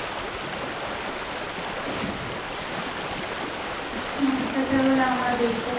কোন অত্যাচার হলে আমরা দেখব